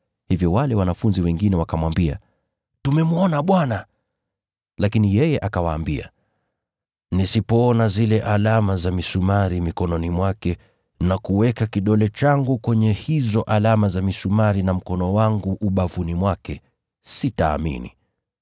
Hivyo wale wanafunzi wengine wakamwambia, “Tumemwona Bwana.” Lakini yeye akawaambia, “Nisipoona zile alama za misumari mikononi mwake, na kuweka kidole changu kwenye hizo alama za misumari na mkono wangu ubavuni mwake, sitaamini.”